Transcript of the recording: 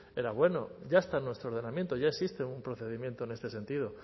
era bueno ya está en nuestro ordenamiento ya existe un procedimiento en este sentido